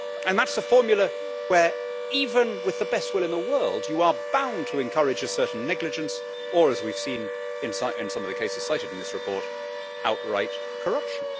That is a formula where, even with the best will in the world, you are bound to encourage a certain negligence or, as we have seen in some of the cases cited in this report, outright corruption.